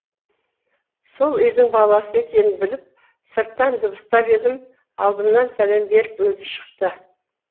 сол үйдің баласы екенін біліп сырттан дыбыстап едім алдымнан сәлем беріп өзі шықты